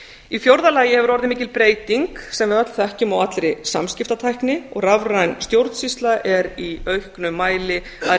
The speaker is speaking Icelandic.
í fjórða lagi hefur orðið mikil breyting sem við öll þekkjum á allri samskiptatækni og rafræn stjórnsýsla er í auknum mæli að